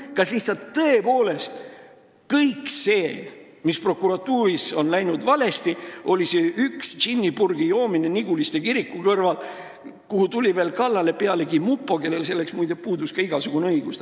Kas tõepoolest kõik see, mis prokuratuuris on läinud valesti, piirdub selle ühe purgitäie džinni joomisega Niguliste kiriku kõrval, kus inimesele tuli kallale mupo, kellel selleks, muide, puudus igasugune õigus?